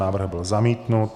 Návrh byl zamítnut.